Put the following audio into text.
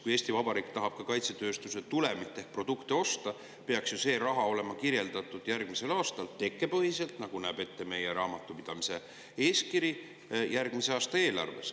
Kui Eesti Vabariik tahab kaitsetööstuse tulemit ehk produkti osta, peaks ju see raha olema kirjeldatud järgmise aasta eelarves tekkepõhiselt, nagu näeb ette meie raamatupidamise eeskiri.